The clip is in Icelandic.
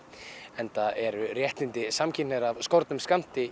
enda eru réttindi samkynhneigðra af skornum skammti